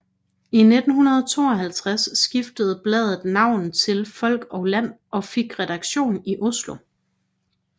I 1952 skiftede bladet navn til Folk og Land og fik redaktion i Oslo